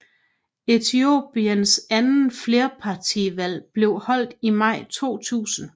Etiopiens anden flerpartivalg blev holdt i maj 2000